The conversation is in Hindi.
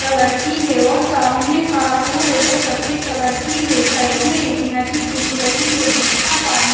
कलर की है और सामने कार जो है वो सफेद कलर की है साइड में एक नदी दिख रही है जिसका पानी--